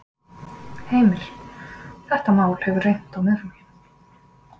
Heimir: Þetta mál hefur reynt á Miðflokkinn?